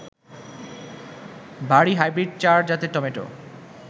বারী hybrid four জাতের tomato